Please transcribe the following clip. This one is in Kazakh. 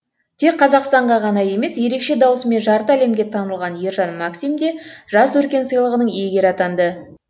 тек қазақстанға ғана емес ерекше даусымен жарты әлемге танылған ержан максим де жас өркен сыйлығының иегері атанды